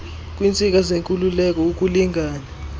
kwiintsika zenkululeko ukulingana